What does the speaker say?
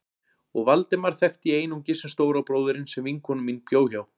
Og Valdemar þekkti ég einungis sem stóra bróðurinn sem vinkona mín bjó hjá.